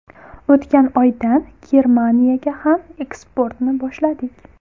O‘tgan oydan Germaniyaga ham eksportni boshladik.